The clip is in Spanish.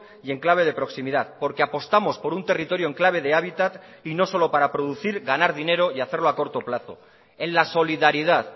y en clave de proximidad porque apostamos por un territorio en clave de hábitat y no solo para producir ganar dinero y hacerlo a corto plazo en la solidaridad